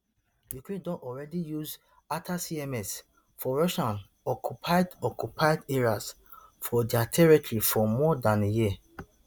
ukraine don already use atacms for russian occupied occupied areas for dia territory for more dan a year